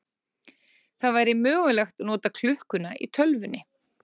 Það væri mögulegt að nota klukkuna í tölvunni.